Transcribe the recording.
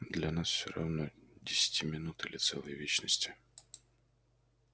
для нас всё равно десяти минут или целой вечности